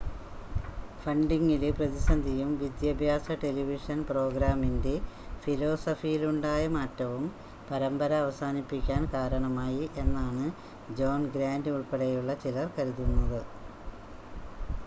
ഫണ്ടിംഗിലെ പ്രതിസന്ധിയും വിദ്യാഭ്യാസ ടെലിവിഷൻ പ്രോഗ്രാമിംഗിൻ്റെ ഫിലോസഫിയിലുണ്ടായ മാറ്റവും പരമ്പര അവസാനിപ്പിക്കാൻ കാരണമായി എന്നാണ് ജോൺ ഗ്രാൻ്റ് ഉൾപ്പെടെയുള്ള ചിലർ കരുതുന്നത്